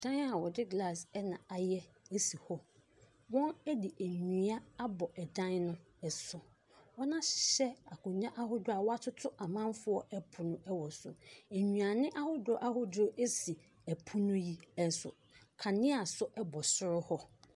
Dan a wɔde glass ɛna ayɛ esi hɔ. Wɔn de ennua abɔ ɛdan no ɛso. Wɔn ahyehyɛ nkondwa ahodoɔ a watoto amanfoɔ ɛpono wɔ so. Nnuane ahodoɔ, ahodoɔ esi ɛpono yi ɛso. Kanea nso ɛbɔ soro hɔ.